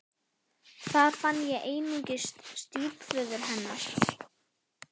Þar fann ég einungis stjúpföður hennar.